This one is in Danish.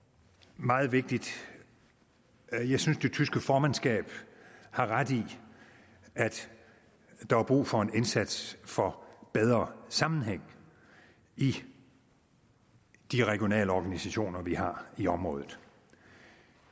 meget vigtigt jeg synes det tyske formandskab har ret i at der er brug for en indsats for bedre sammenhæng i de regionale organisationer vi har i området